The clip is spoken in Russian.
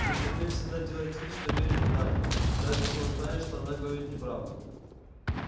джентльмен всегда делает вид что верит даме даже если он знает что она говорит неправду